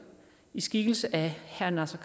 i skikkelse af herre naser